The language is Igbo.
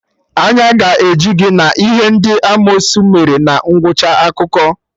Anya ga-eju gị na ihe ndị amosu mere na ngwụcha akụkọ